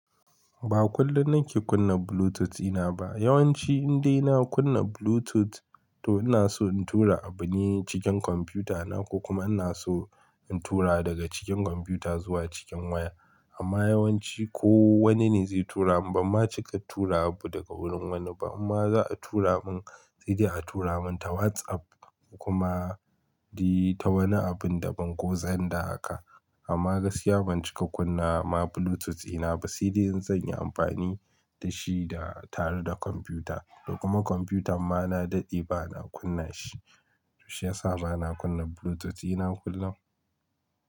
Ba kullum na ke kunna Bluetooth ɗi na ba. Yawan ci indai na kunna Bluetooth to ina so in tura abu ne cikin kwamfuta na ko kuma ina so in tura daga cikin kwamfuta zuwa cikin waya. Amma yawan ci ko wani ne zai tura mun bamma cika tura abu daga wurin wani ba amma za a tura mun, sai dai a tura mun ta WhatsApp kuma di ta wani abun da ban goza inda aka. Amma gaskiya ban cika kunna ma Bluetooth ina ba sai dai in zan yi amfani da shi da tare da kwamfuta. Kuma kwamfuta ma na daɗe ba na kunna shi. Shiyasa ba na kunna Bluetooth ɗi na kullum.